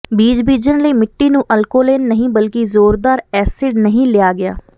ਬੀਜ ਬੀਜਣ ਲਈ ਮਿੱਟੀ ਨੂੰ ਅਲਕੋਲੇਨ ਨਹੀਂ ਬਲਕਿ ਜ਼ੋਰਦਾਰ ਐਸਿਡ ਨਹੀਂ ਲਿਆ ਗਿਆ